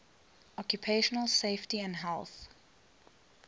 occupational safety and health